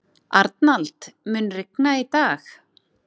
Arnald, mun rigna í dag?